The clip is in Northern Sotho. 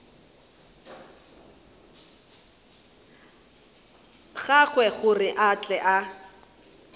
gagwe gore a tle a